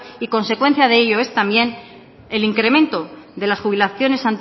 y consecuencia de ellos es también el incremento de las jubilaciones